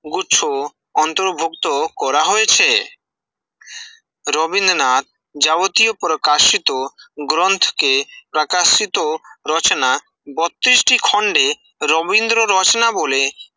গুছ অন্তরভক্ত করা হয়েছে রবীন্দ্রনাথ যাবতীয় প্রকাশিত গ্রন্থকে প্রকাশিত রচনা, বোত্তইষ্টি খন্ডে রবীন্দ্র রচনা বলে